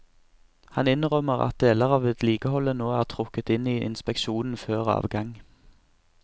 Han innrømmer at deler av vedlikeholdet nå er trukket inn i inspeksjonen før avgang.